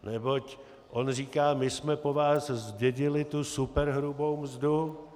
Neboť on říká: my jsme po vás zdědili tu superhrubou mzdu.